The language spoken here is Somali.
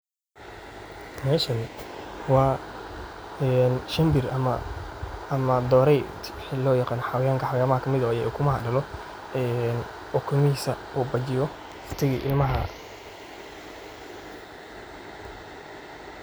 Meeshaan waa een shimbir ama doorey wixi lo yaqaano xawayanka xawayamaha kale kaa miid oo ukumaha daalo een, ukumihisaa uu bajiyoo ukatagii ilmahaa.